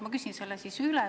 Ma küsin selle siis üle.